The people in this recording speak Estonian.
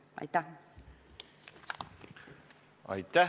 Aitäh!